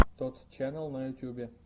тотт ченнал на ютюбе